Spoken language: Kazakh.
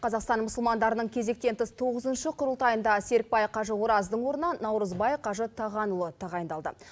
қазақстан мұсылмандарының кезектен тыс тоғызыншы құрылтайында серікбай қажы ораздың орнына нурызбай қажы тағанұлы тағайындалды